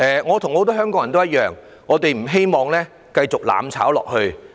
我與很多香港人一樣，不希望香港繼續"攬炒"下去。